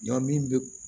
Ɲɔn min bɛ